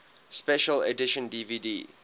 special edition dvd